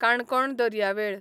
काणकोण दर्यावेळ